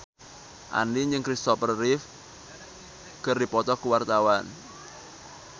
Andien jeung Christopher Reeve keur dipoto ku wartawan